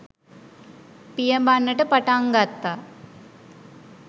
පියඹන්නට පටන් ගත්තා